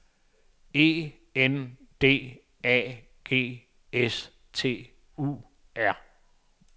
E N D A G S T U R